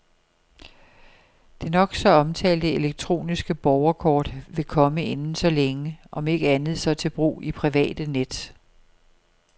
Det nok så omtalte elektroniske borgerkort vil komme inden så længe, om ikke andet, så til brug i private net.